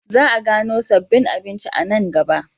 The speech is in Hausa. Za a gano sabbin abinci a nan gaba.